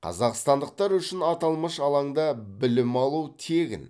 қазақстандықтар үшін аталмыш алаңда білім алу тегін